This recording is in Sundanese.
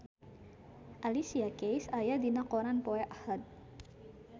Alicia Keys aya dina koran poe Ahad